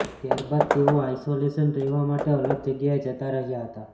ત્યારબાદ તેઓ આઈસોલેશનમાં રહેવા માટે અલગ જગ્યાએ જતા રહ્યા હતા